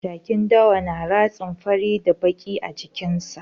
Jakin dawa na ratsin fari da baƙi a jikin sa